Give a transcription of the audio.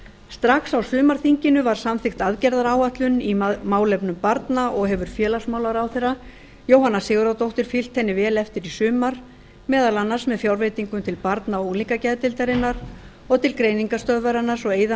strax á sumarþinginu var samþykkt aðgerðaáætlun í málefnum barna og hefur félagsmálaráðherra jóhanna sigurðardóttir fylgt henni vel eftir í sumar meðal annars með fjárveitingum til barna og unglingageðdeildarinnar og til greiningarstöðvarinnar svo að eyða